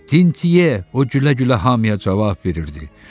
Tintye, o gülə-gülə hamıya cavab verirdi.